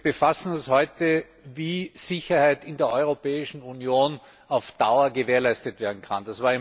Wir befassen uns heute damit, wie Sicherheit in der Europäischen Union auf Dauer gewährleistet werden kann.